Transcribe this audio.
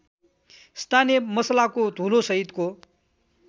स्थानीय मसलाको धुलोसहितको